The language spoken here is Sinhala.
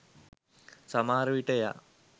සමහර විට එයා